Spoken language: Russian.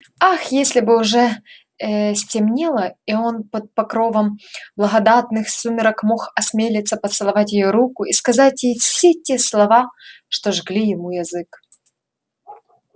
ах если бы уже ээ стемнело и он под покровом благодатных сумерек мог осмелиться поцеловать её руку и сказать ей все те слова что жгли ему язык